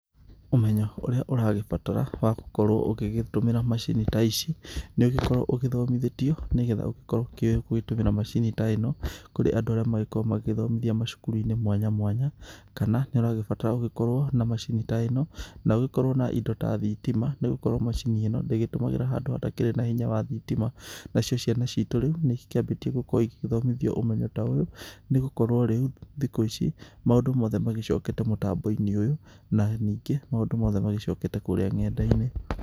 Ũmenyo ũrĩa ũragĩbatara wa gũkorwo ũgĩgĩtũmĩra macini ta ici, nĩ ũgĩkoragwo ũgĩthomithĩtio nĩgetha ũgĩkorwo ũkĩũĩ gũtũmĩra macini ta ĩno, kũrĩ andũ arĩa magĩkoragwo magĩthomithia macukuru-inĩ mwanya mwanya, kana nĩ ũragĩbatara gũgĩkorwo na macini ta ĩno na ũgĩkorwo na indo ta ĩno nĩ gũkorwo macini ĩno ndĩgĩtũmagĩrwo handũ hatakĩrĩ na hinya wa thitima, nacio ciana citũ rĩu nĩ ikĩambitie gũkorwo igĩgĩthomithio ũmenyo ta ũyũ, nĩ gũkorwo rĩu thikũ ici maũndũ mothe magĩcokete mũtambo-inĩ ũyũ, na ningĩ maũndũ mothe magĩcokete kũrĩa nenda-inĩ.